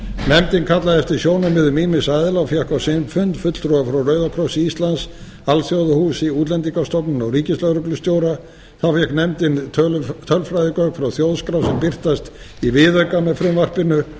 nefndin kallaði eftir sjónarmiðum ýmissa aðila og fékk á sinn fund fulltrúa frá rauða krossi íslands alþjóðahúsi útlendingastofnun og ríkislögreglustjóra þá fékk nefndin tölfræðigögn frá þjóðskrá sem birtast í viðauka með frumvarpinu